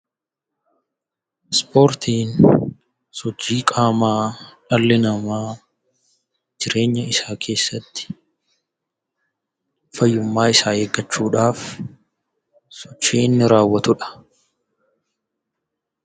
Ispoortiin sochii qaamaa dhalli namaa jireenya isaa keessatti fayyummaa isaa eeggachuu dhaaf sochii inni raawwatu dha.